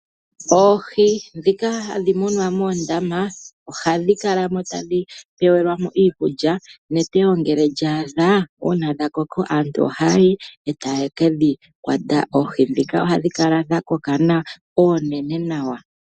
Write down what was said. Oohii dhika hadhimunwa moondama ohadhikalamo tadhi pewelwamo iikulya , netewo ngele lyadha una dhakoko aantu ohayi otayekedhi kwata oohii dhika ohadhikala dhakoka nawa onene nawa.